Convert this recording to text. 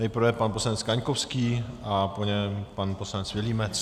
Nejprve pan poslanec Kaňkovský a po něm pan poslanec Vilímec.